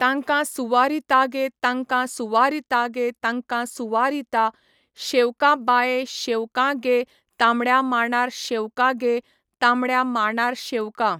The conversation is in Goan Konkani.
तांकां सुवारीता गे तांकां सुवारीता गे तांकांं सुवारीता, शेवकां बाये शेवकां गे तांबड्या मांडार शेवका गे तांबड्या मांडार शेवकां.